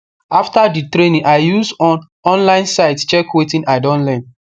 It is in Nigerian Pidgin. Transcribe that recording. after the training i use on online site check wetin i don learn